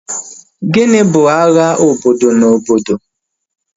Gịnị bụ agha obodo na obodo?